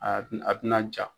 A ti a tɛna ja.